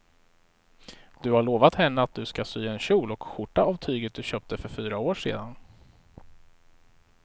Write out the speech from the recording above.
Du har lovat henne att du ska sy en kjol och skjorta av tyget du köpte för fyra år sedan.